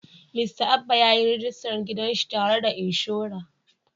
Mista Abba ya yi rajista gidan shi tare da inshora.